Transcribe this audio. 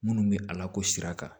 Minnu bɛ a lako sira kan